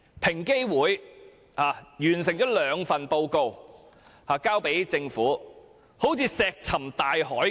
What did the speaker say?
平等機會委員會完成了兩份報告並提交政府，卻好像石沉大海般。